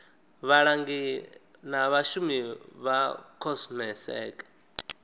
vhalangi na vhashumi vha comsec